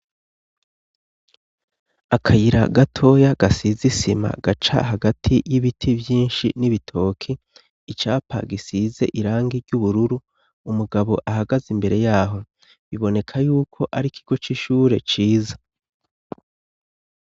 Akayira gatoya gasizisima gaca hagati y'ibiti vyinshi n'ibitoki icapa gisize irangi ry'ubururu umugabo ahagaze imbere yaho biboneka yuko ari ikigo c'ishure ciza.